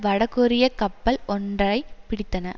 வட கொரியக் கப்பல் ஒன்றை பிடித்தன